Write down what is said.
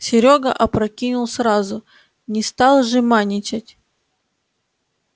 серёга опрокинул сразу не стал жеманничать